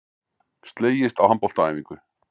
Slegist á handboltaæfingu